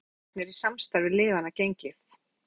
Hvernig hafa fyrstu mánuðirnir í samstarfi liðanna gengið?